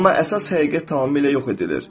Amma əsas həqiqət tamamilə yox edilir.